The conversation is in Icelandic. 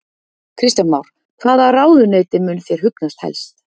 Kristján Már: Hvaða ráðuneyti mun þér hugnast helst?